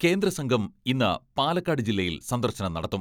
കേന്ദ്രസംഘം ഇന്ന് പാലക്കാട് ജില്ലയിൽ സന്ദർശനം നടത്തും.